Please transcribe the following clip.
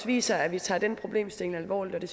viser at vi tager den problemstilling alvorligt og det